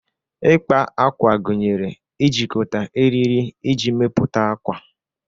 Ịkpa ákwà gunyere ijikọta eriri iji mepụta akwa.